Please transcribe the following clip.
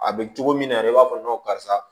A bɛ cogo min na yɛrɛ i b'a fɔ karisa